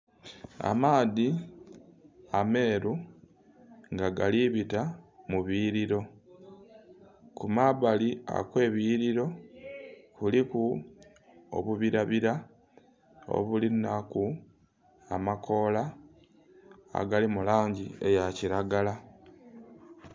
Amaadhi ameru nga gali bita mu buyiriro, kumabali okwe biyiriro ku liku obubira bira obuli nhaku amakoola agali mu langi eya kilagala.